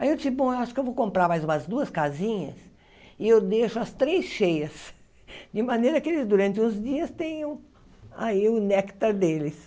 Aí eu disse, bom, acho que eu vou comprar mais umas duas casinhas e eu deixo as três cheias, de maneira que eles, durante uns dias, tenham aí o néctar deles.